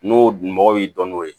N'o dun mɔgɔw y'i dɔn n'o ye